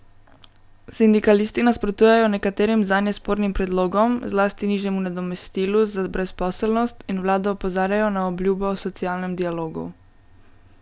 Sindikalisti nasprotujejo nekaterim zanje spornim predlogom, zlasti nižjemu nadomestilu za brezposelnost, in vlado opozarjajo na obljubo o socialnem dialogu.